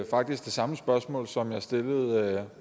faktisk det samme spørgsmål som jeg stillede